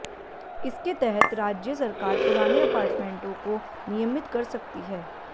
इसके तहत राज्य सरकार पुराने अपार्टमेंटों को नियमित कर सकती है